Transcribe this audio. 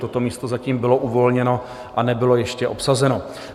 Toto místo zatím bylo uvolněno a nebylo ještě obsazeno.